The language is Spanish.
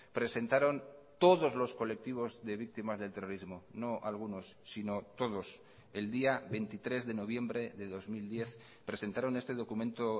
presentaron todos los colectivos de víctimas del terrorismo no algunos sino todos el día veintitrés de noviembre de dos mil diez presentaron este documento